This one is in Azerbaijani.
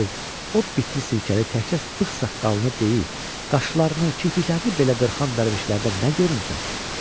o bitli sirkəli təkcə bığ-saqqalını deyil, qaşlarını, kirpiklərini belə qırxan dərvişlərdə nə görmüsən?